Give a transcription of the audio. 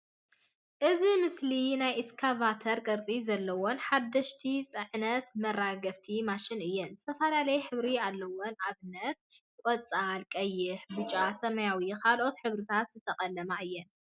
እዚ ምስሊ ናይ እስካቫተር ቅርጺ ዘለወን ሓደሽቲ ጸዓንትን መራገፍትን ማሽናት እየን። ዝተፈላለየ ሕብሪ ኣለወን ኣብነት ቆጻል፥ ቀይሕ፥ ብጫ፥ ሰማያዊ ካልኦትን ሕብርታት ዝተቐለማ እየን።